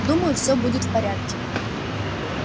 думаю все будет в порядке